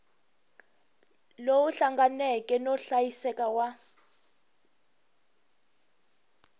lowu hlanganeke no hlayiseka wa